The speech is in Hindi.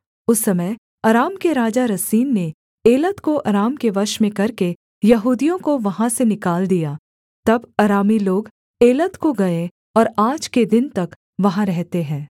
उस समय अराम के राजा रसीन ने एलत को अराम के वश में करके यहूदियों को वहाँ से निकाल दिया तब अरामी लोग एलत को गए और आज के दिन तक वहाँ रहते हैं